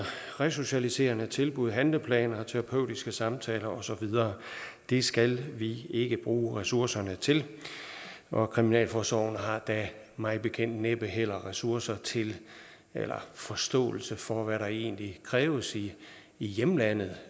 resocialiserende tilbud handleplaner terapeutiske samtaler og så videre det skal vi ikke bruge ressourcerne til og kriminalforsorgen har da mig bekendt næppe heller ressourcer til eller forståelse for hvad der egentlig kræves i hjemlandet